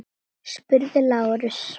spurði Lárus.